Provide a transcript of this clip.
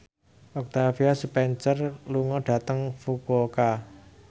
Octavia Spencer lunga dhateng Fukuoka